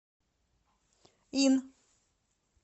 ин